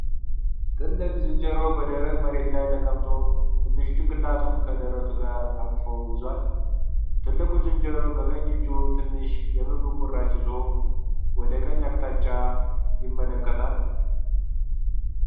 ትልቅ ዝንጀሮ በደረቅ መሬት ላይ ተቀምጦ ትንሹን ጭንቅላቱን ከደረቱ ጋር አቅፎ ይዟል። ትልቁ ዝንጀሮ በቀኝ እጁ ትንሽ የምግብ ቁራጭ ይዞ ወደ ቀኝ አቅጣጫ ይመለከታል።